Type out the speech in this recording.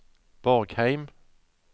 Borgheim